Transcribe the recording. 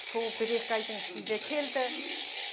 су бір екі айдың ішінде келді